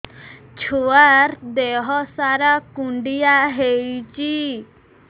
ଛୁଆର୍ ଦିହ ସାରା କୁଣ୍ଡିଆ ହେଇଚି